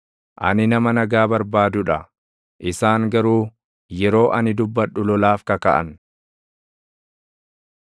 Ani nama nagaa barbaadu dha; isaan garuu yeroo ani dubbadhu lolaaf kakaʼan.